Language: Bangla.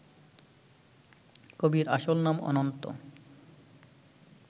কবির আসল নাম অনন্ত